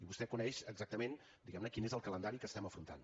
vostè coneix exactament diguemne quin és el calendari que estem afrontant